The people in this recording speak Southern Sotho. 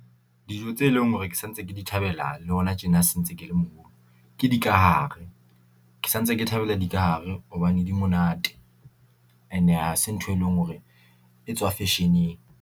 Dijo tse leng hore ke sa ntse ke di thabela le hona tjena se ntse ke le moholo ke di ka hare, ke sa ntse ke thabela di ka hare hobane di monate ena ha se ntho e leng hore e tswa fashion-eng.